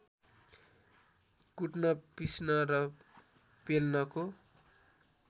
कुट्न पिस्न र पेल्नको